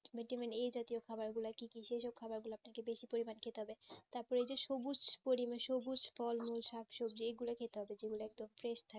vitamin a জাতীয় খবর গুলো কি কি সেই সব খাবার গুলা আপনাকে বেশি পরিমান খেতে হবে তারপরে যে সবুজ পরিবেশে সবুজ ফল মূল শাক সবজি এই গুলো খেতে হবে যে গুলা একদম fresh থাকে